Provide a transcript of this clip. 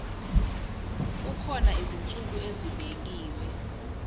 kukhona izinsuku ezibekiwe